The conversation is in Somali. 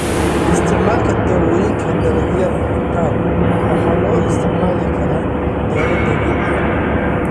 Isticmaalka Dawooyinka Dalagyada qaar waxa loo isticmaali karaa dawo dabiici ah.